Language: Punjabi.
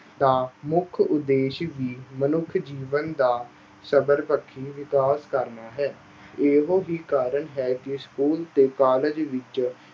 ਦਾ ਮੁੱਖ ਉਦੇਸ਼ ਵੀ ਮਨੁੱਖੀ ਜੀਵਨ ਦਾ ਸਰਬਪੱਖੀ ਵਿਕਾਸ ਕਰਨਾ ਹੈ। ਇਹੋ ਹੀ ਕਾਰਨ ਹੈ ਕਿ school ਤੇ college ਵਿੱਚ